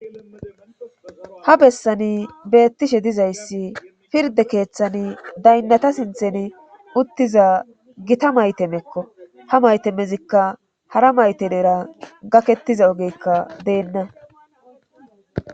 Ha bessani beettishe dizayssi pirde keeththan daynnata sinthen uttiza gita maytemekko ha maytemezikka hara mayte deera gakettiza ogekka deenna.